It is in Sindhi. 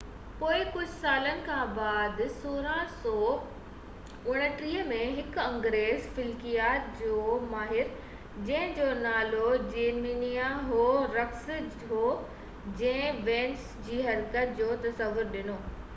پوءِ ڪجهہ سالن کانپوءِ 1639 ۾ هڪ انگريز فلڪيات جو ماهر جنهن جو نالو جيرميا هورڪس هو جنهن وينس جي حرڪت جو تصور ڏنو